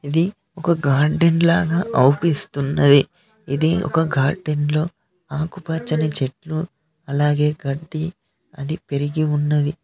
ఇది ఒక గార్డెన్ లాగా అవుపిస్తున్నది ఇది ఒక గార్డెన్ లో ఆకుపచ్చని చెట్లు అలాగే గడ్డి అది పెరిగి ఉన్నది.